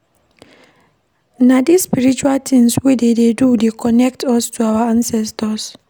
Na dese spiritual tins wey we dey do dey connect us to our ancestors.